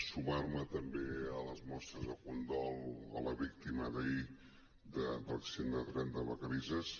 sumar me també a les mostres de condol a la víctima d’ahir de l’accident de tren de vacarisses